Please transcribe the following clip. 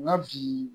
N ka bi